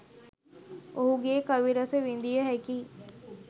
ඔහුගේ කවි රස විඳිය හැකියි.